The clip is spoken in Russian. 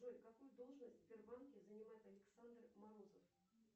джой какую должность в сбербанке занимает александр морозов